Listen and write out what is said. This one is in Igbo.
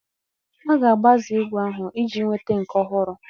A ga-agbaze ígwè ahụ iji nweta nke ọhụrụ